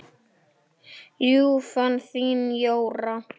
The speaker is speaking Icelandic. Ljúfan þín, Jóra.